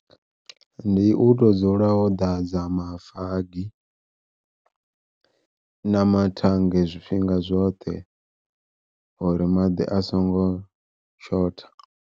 Ndi u to dzula wo ḓadza mafagi na mathange zwifhinga zwoṱhe uri maḓi a songo shotha.